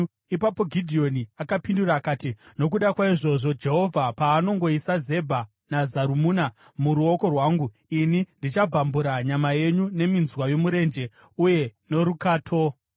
Ipapo Gidheoni akapindura akati, “Nokuda kwaizvozvo, Jehovha paanongoisa Zebha naZarumuna muruoko rwangu, ini ndichabvambura nyama yenyu neminzwa yomurenje uye norukato.”